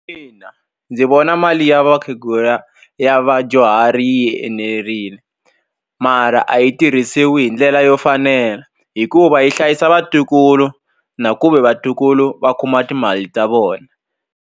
ndzi vona mali ya vakhegula ya vadyuhari yi enerile mara a yi tirhisiwi hi ndlela yo fanela hikuva yi hlayisa vatukulu na ku ve vatukulu va kuma timali ta vona.